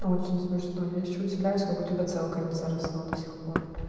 очень смешно я ещё удивляюсь как у тебя целка не заросла до сих пор